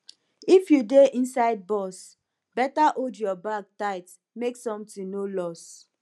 if you dey inside bus beta hold your bag tight make something no loss